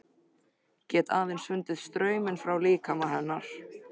Get aðeins fundið strauminn frá líkama hennar.